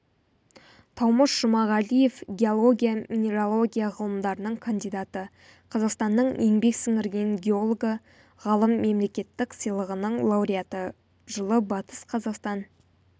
таумыш жұмағалиев геология-минералогия ғылымдарының кандидаты қазақстанның еңбек сіңірген геологы ғалым мемлекеттік сыйлығының лауреаты жылы батыс қазақстан